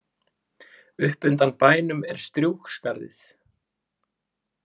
Upp undan bænum er Strjúgsskarðið.